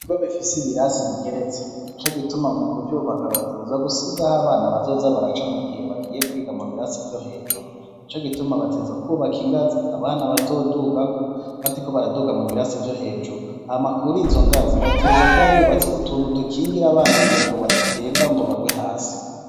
Ibwo bifise ibirasi bigeretse ni co gituma mu kuvyubaka bateza gusigaho abana bazoza baraca mu gihe bagiye kwiga mu birasi vyo hejuru nico gituma bateza kwubaka ingazi abana bazodugako badiko baraduga mu biraso vyo hejuru amakuru izo ngazi bateza kuba bubatse utuntu dukingire abana kugira ngo badatemba ngo bagwe hasi.